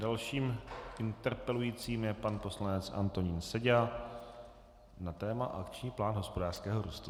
Dalším interpelujícím je pan poslanec Antonín Seďa na téma Akční plán hospodářského růstu.